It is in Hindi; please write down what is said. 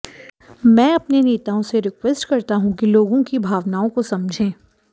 मैं अपने नेताओं से रिक्वेस्ट करता हूं कि लोगों की भावनाओं को समझें